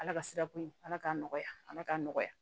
Ala ka sira ko in ala k'an nɔgɔya ala k'an nɔgɔya